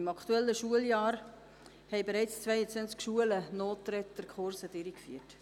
Im aktuellen Schuljahr haben bereits zweiundzwanzig Schulen Nothilfekurse durchgeführt.